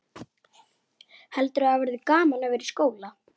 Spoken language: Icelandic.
Komast yfir hana að fullu?